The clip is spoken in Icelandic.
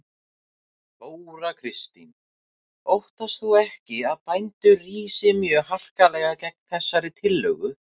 Þóra Kristín: Óttast þú ekki að bændur rísi mjög harkalega gegn þessari tillögu?